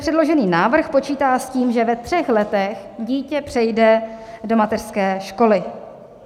Předložený návrh počítá s tím, že ve třech letech dítě přejde do mateřské školy.